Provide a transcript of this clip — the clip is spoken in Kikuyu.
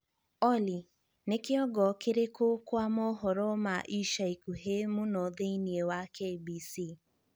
olly ni kīongo kīrīku kwa mohoro ma ica ikuhī muno thīini wa K.B.C